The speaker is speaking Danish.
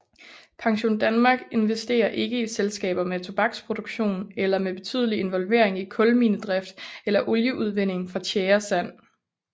PensionDanmark investerer ikke i selskaber med tobaksproduktion eller med betydelig involvering i kulminedrift eller olieudvinding fra tjæresand